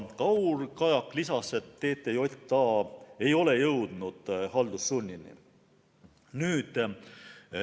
Kaur Kajak lisas, et TTJA ei ole veel jõudnud haldussunni kohaldamiseni.